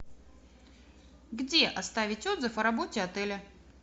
где оставить отзыв о работе отеля